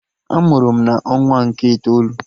A mụrụ m na ọnwa nke itoolu